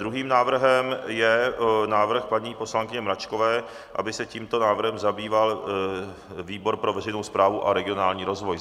Druhým návrhem je návrh paní poslankyně Mračkové, aby se tímto návrhem zabýval výbor pro veřejnou správu a regionální rozvoj.